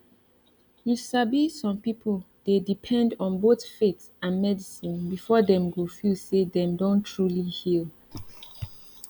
you sabi some people dey depend on both faith and medicine before dem go feel say dem don truly dey heal